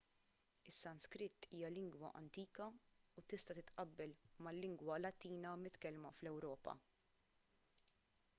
is-sanskrit hija lingwa antika u tista' titqabbel mal-lingwa latina mitkellma fl-ewropa